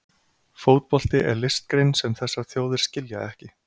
Fótbolti er listgrein sem þessar þjóðir skilja ekki.